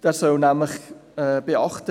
Er soll nämlich Folgendes beachten: